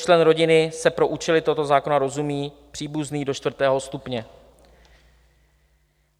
Členem rodiny se pro účely tohoto zákona rozumí příbuzný do čtvrtého stupně.